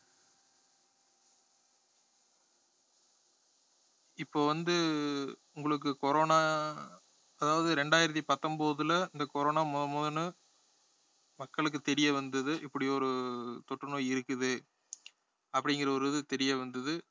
இப்ப வந்து உங்களுக்கு corona அதாவது ரெண்டாயிரத்தி பத்தொன்பதுல இந்த corona முதல் முதல்ல மக்களுக்கு தெரிய வந்தது இப்படி ஒரு தொற்று நோய் இருக்குது அப்படிங்கற ஒரு இது தெரிய வந்தது